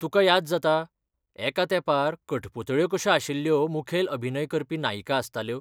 तुका याद जाता एका तेंपार कठपुतळ्यो कश्यो आशिल्ल्यो मुखेल अभिनय करपी नायिका आसताल्यो?